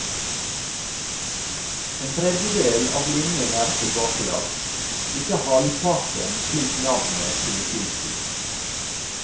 En tredjedel av linjen er tilbakelagt, ikke halvparten slik navnet skulle tilsi.